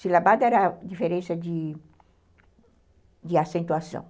Silabada era a diferença de acentuação.